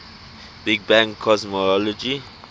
big bang cosmology